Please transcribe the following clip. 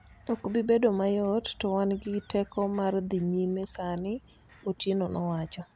"Ok bi bedo mayot, to wan gi teko mar dhi nyime sani," Otieno nowacho.